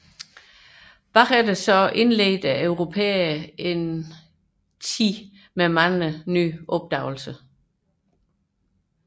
Europæerne indledte senere en tid med mange opdagelser